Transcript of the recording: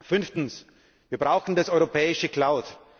Fünftens Wir brauchen die europäische Cloud.